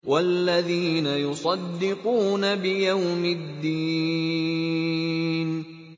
وَالَّذِينَ يُصَدِّقُونَ بِيَوْمِ الدِّينِ